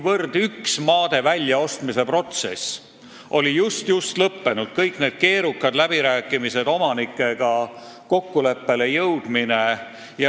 Üks maade väljaostmise protsess oli just-just lõppenud – kõik need keerukad läbirääkimised, omanikega kokkuleppele jõudmine.